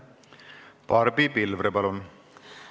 Barbi Pilvre, palun!